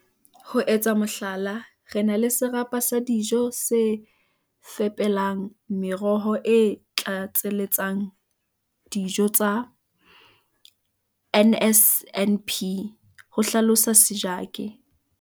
"Ho etsa mohlala, re na le serapa sa dijo se fepelang meroho e tlatseletsang dio tsa NSNP," ho hlalosa Sejake.